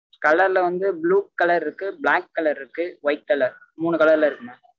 colour ல வந்து blue colour இருக்கு black colour இருக்கு white colour மூணு colour ல இருக்கு mam